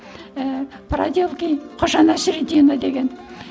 ііі проделки ходжа насреддина деген